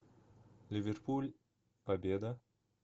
ливерпуль победа